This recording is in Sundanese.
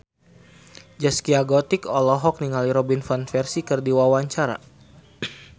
Zaskia Gotik olohok ningali Robin Van Persie keur diwawancara